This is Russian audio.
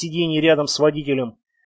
сиденье рядом с водителем